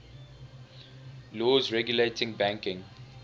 laws regulating banking